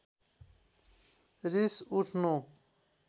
रिस उठ्नु